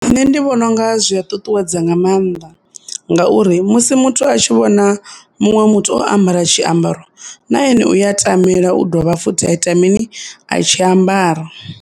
Nṋe ndi vhona unga zwi a ṱuṱuwedza nga mannḓa ngauri musi muthu a tshi vhona muṅwe muthu o ambara tshiambaro na ene u ya tamela u dovha futhi a ita mini ? A tshi ambara.